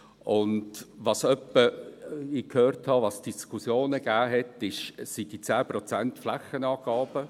Was ich hin und wieder gehört habe, was Diskussionen ergeben haben, sind diese 10 Prozent Flächenangabe.